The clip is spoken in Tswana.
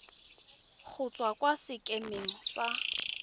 go tswa kwa sekemeng sa